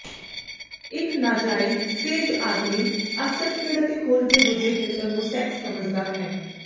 ਇੱਕ ਨਾਜਾਇਜ਼ ਸੇਜ ਆਦਮੀ ਅਕਸਰ ਖੇਡ ਅਤੇ ਖੋਜ ਦੇ ਦੂਜੇ ਖੇਤਰ ਨੂੰ ਸੈਕਸ ਸਮਝਦਾ ਹੈ